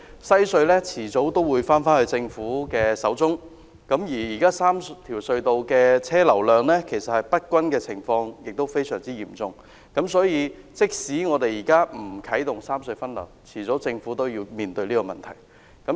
西隧遲早會由政府擁有，而現時3條隧道車流量不均的情況非常嚴重，所以政府即使現在不啟動三隧分流，未來也要面對這個問題。